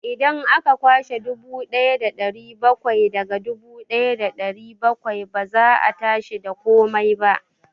Idan aka kwashe dubu ɗaya da ɗari bakwai daga dubu ɗaya da ɗari bakwai, ba za a tashi da komai ba.